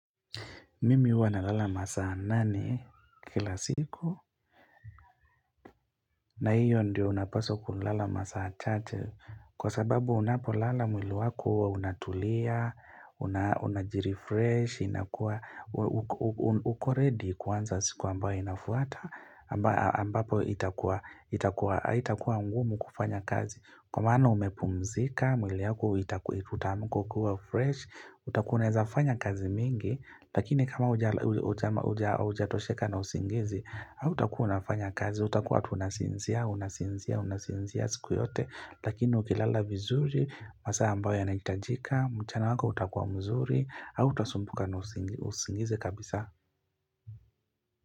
Mimi huwa nalala masaa nane kila siku na hiyo ndio unapaswa kulala masaa chache kwa sababu unapolala mwili wako unatulia, unajiri fresh, unakuwa uko ready kuanza siku ambayo inafuata ambapo haitakuwa mgumu kufanya kazi. Kwa maana umepumzika, mwili wako itaku itaamka ukiwa fresh, utakuwa unaweza fanya kazi mingi, lakini kama hujatosheka na usingizi, hautakuwa unafanya kazi, utakua tu unasinzia, unasinzia, unasinzia siku yote, lakini ukilala vizuri, masaa ambayo yanahitajika, mchana wako utakuwa mzuri, hautasumbuka na usingizi kabisa.